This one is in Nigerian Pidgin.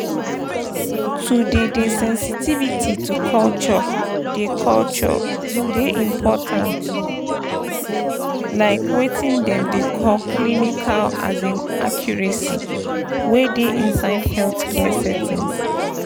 to dey dey sensitivity to culture dey culture dey important like weting dem dey call clinical um accuracy wey dey inside healthcare settings.